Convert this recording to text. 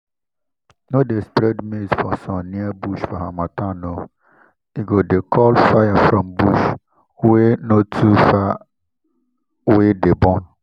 no dey spread maize for sun near bush for harmattan o—e go dey call fire from bush wey no too far wey dey burn.